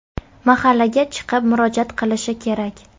Mahallaga chiqib murojaat qilishi kerak.